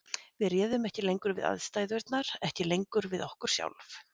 Við réðum ekki lengur við aðstæðurnar, ekki lengur við okkur sjálf.